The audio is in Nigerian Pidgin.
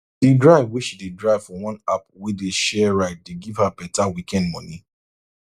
the drive wey she dey drive for one app wey dey share ride dey give her better weekend money